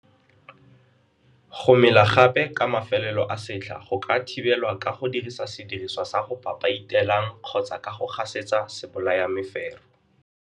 Go mela gape ka mafelelo a setlha go ka thibelwa ka go dirisa sediriswa sa go papaitelang kgotsa ka go gasetsa sebolayamefero.